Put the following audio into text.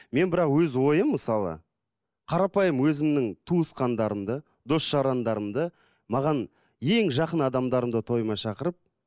мен бірақ өз ойым мысалы қарапайым өзімнің туысқандарымды дос жарандарымды маған ең жақын адамдарымды тойыма шақырып